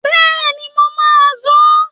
Bẹ́ẹ̀ni, mo má a sọ